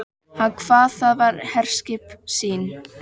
Hann kvað það vera herskip sín.